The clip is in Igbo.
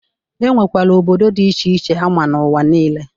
E nwekwere obodo dị iche iche ama n'ụwa nile.